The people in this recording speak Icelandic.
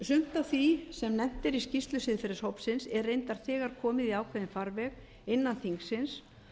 sumt af því sem nefnt er í skýrslu siðferðishópsins er reyndar þegar komið í ákveðinn farveg innan þingsins